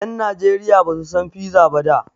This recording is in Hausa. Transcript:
Ƴan Najeriya Basu san piza ba da.